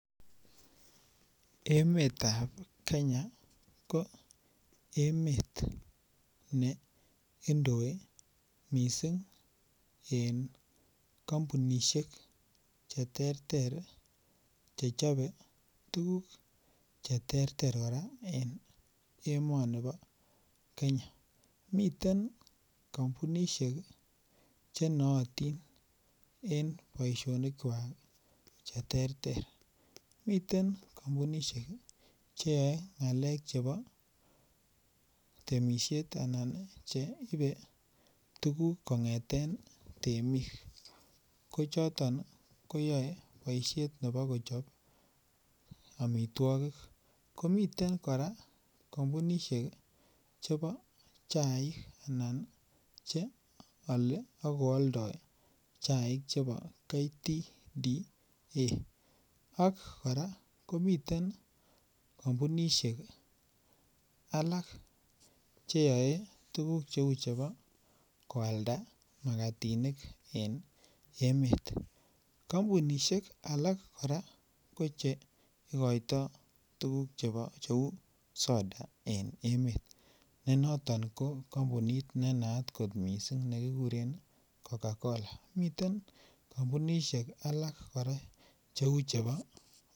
Emeetab Kenya ko emeet neindoi missing en kampunisiek cheterter chechobe tuguk chechobe tuguk cheterter kora en emonibo Kenya. Miten miten kampunisiek chenootin en boisionikuak ih cheterter miten kampunisiek cheyae ng'alek chebo temisiet anan cheibe tuguk kong'eten temik ko choton ih koyae boisiet nebo Kochab amituakik komiten kora kampunisiek chebo chaik, anan cheale akoaldo chaik chebo Kenya tea cooperative association ak kora komiten kampunisiek alak cheyae tuguk cheuu chebo koalda magatinik en Emmet. Kampunisiek alak kora ko I koito tuguk cheuu chebo soda en emeet. Ko noton kampunit ne naat kot missing nekikuren Coca-Cola miten kampunisiek alak kora cheuu chebo